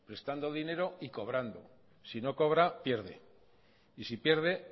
prestando dinero y cobrando si no cobra pierde y si pierde